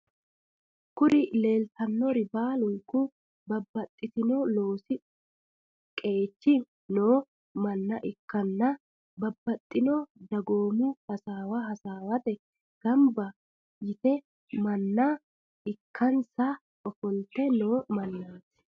Kuri lelitanori baluniku babatitino loosi qechi noo mana ikana babatino dagomu hasawa hasawate ganiba yitino mana ikanisa ofolite noo manati.